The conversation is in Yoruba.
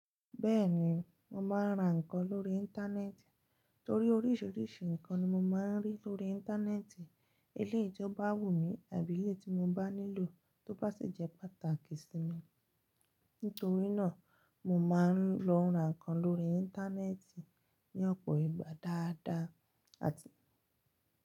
Bẹ́ẹ̀ni, mo máa ń ra nǹkan lórí Íńtánẹ́ẹ̀tì torí oríṣiríṣi nǹkan ni mo máa ń rí lórí Íńtánẹ́ẹ̀tì. Eléyi ti oo bá wù mí àbí eléyi tí mo bá nílò tó bá sì jẹ́ pàtàkì sí mi. Nítorí náà, mo máa ń lọ ra nǹkan lórí Íńtánẹ́ẹ̀tì ní ọ̀pọ̀ ìgbà dáadáa àti.